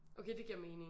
Okay det giver mening